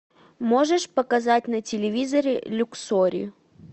можешь показать на телевизоре люксори